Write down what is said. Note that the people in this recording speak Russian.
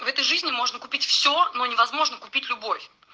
в этой жизни можно купить все но невозможно купить любовь